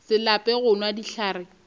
se lape go nwa dihlare